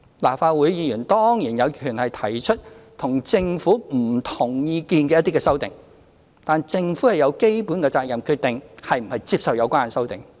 立法會議員當然有權提出與政府不同意見的修正案，但政府亦有基本責任決定是否接受有關修正案。